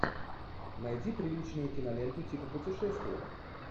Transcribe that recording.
найди приличную киноленту типа путешествия